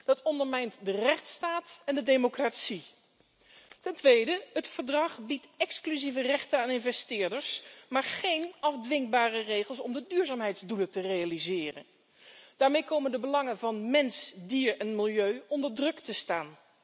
Dat ondermijnt de rechtsstaat en de democratie. Ten tweede biedt de overeenkomst exclusieve rechten aan investeerders, maar omvat zij geen afdwingbare regels om de duurzaamheidsdoelen te realiseren. Daarmee komen de belangen van mens, dier en milieu onder druk te staan.